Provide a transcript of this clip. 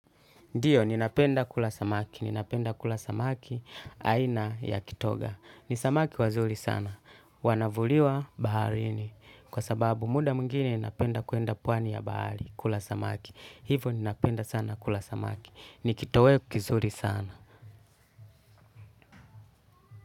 Ndio, ninapenda kula samaki. Ninapenda kula samaki. Aina ya kitoga. Ni samaki wazuri sana. Wanavuliwa baharini. Kwa sababu muda mwingine napenda kwenda pwani ya bahari kula samaki. Hivo ninapenda sana kula samaki. Ni kitoweo kizuri sana.